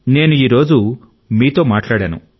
నేను ఈ రోజు మీతో మాట్లాడాను